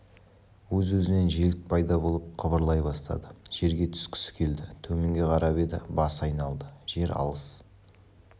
өз-өзінен желік пайда болып қыбырлай бастады жерге түскісі келді төменге қарап еді басы айналды жер алыс